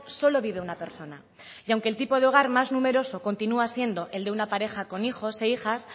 solo vive una persona y aunque el tipo de hogar más numeroso continúa siendo el de una pareja con hijos e hijas